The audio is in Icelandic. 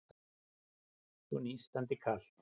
Svo nístandi kalt.